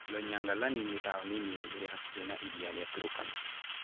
Loiyangalani nĩ taũni nini ĩrĩ hakuhĩ na Iria rĩa Turkana.